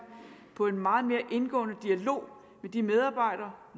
på en meget mere indgående dialog med de medarbejdere